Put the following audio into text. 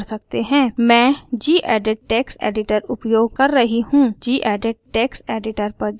मैं gedit text editor उपयोग कर रही हूँ gedit टेक्स्ट एडिटर पर जाएँ